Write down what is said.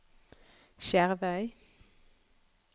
Skjervøy